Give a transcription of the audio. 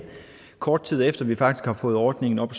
kort tid efter at vi faktisk har fået ordningen op